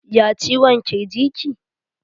Ya ciwon kirji ki?